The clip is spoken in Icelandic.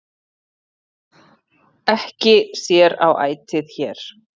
Ekki sér á ætið hér,